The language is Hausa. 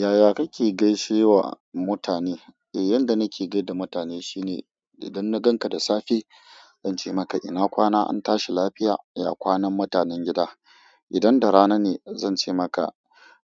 Yaya kake gaishewa mutane? Eh, yanda nake gaida mutane shi ne idan na ganka da safe zan ce maka ina kwana an tashi lafiya, ya kwanan mutanen gida. Idan da rana ne zan ce maka